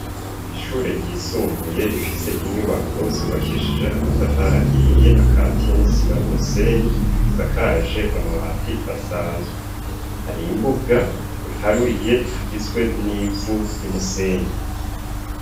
Ishure ryisumbuye rifise inyubako zubakeshije amatafari ahiye akatiye n'isima n'umusenyi, risakaje amabati asanzwe. Hari imbuga iharuye igizwe n'ivu ry'umusenyi.